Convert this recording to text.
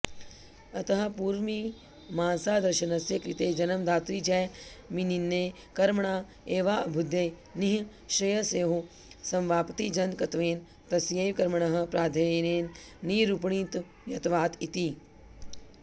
अतः पूर्वमीमांसादर्शनस्य कृते जन्मदातृजैमिनिनये कर्मणा एवाऽभ्युदय निःश्रेयसयोः समवाप्तिजनकत्वेन तस्यैव कर्मणः प्राधान्येन निरूपणीयत्वात् इति